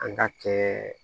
An ka kɛ